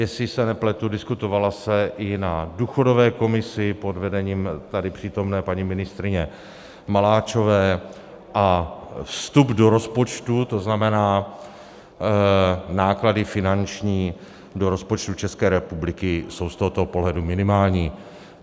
Jestli se nepletu, diskutovala se i na důchodové komisi pod vedením tady přítomné paní ministryně Maláčové a vstup do rozpočtu, to znamená náklady finanční do rozpočtu České republiky, jsou z tohoto pohledu minimální.